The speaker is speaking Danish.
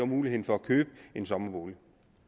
mulighed for at købe en sommerbolig